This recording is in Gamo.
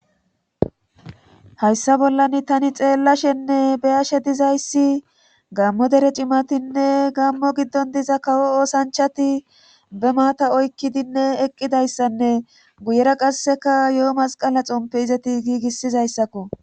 Hayssa bollani tani xeellashenne beyashe dizayssi gammo dere cimatinne gammo giddon diza kawo oosanchati be maata oykkidinne eqqidayssanne guyera qasseka yo7o masqala xompe izeti giigissizayssakko.